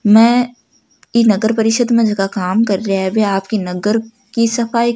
मैं ई नगर परिषद् में जका काम कर रिया है बे आपकी नगर की सफाई --